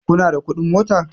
kuna da kuɗin mota?